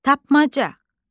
Tapmaca.